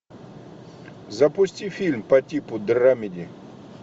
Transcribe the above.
запусти фильм по типу драмеди